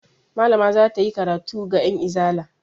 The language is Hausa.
Malama za ta yi karatu ga 'yanizala.